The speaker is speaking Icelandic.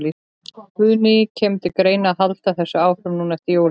Guðný: Kemur til greina að halda þessu áfram núna eftir jólin?